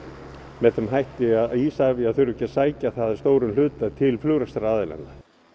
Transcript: með þeim hætti að Isavia þurfi ekki að sækja það að stórum hluta til flugrekstraraðilanna